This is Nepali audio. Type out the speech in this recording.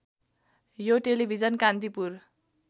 यो टेलिभिजन कान्तिपुर